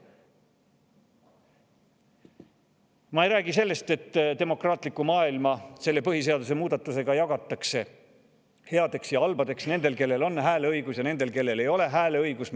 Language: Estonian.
Ma ei räägi sellest, et demokraatlik maailm jagatakse selle põhiseaduse muudatusega headeks ja halbadeks, nendeks, kellel on hääleõigus, ja nendeks, kellel ei ole hääleõigust.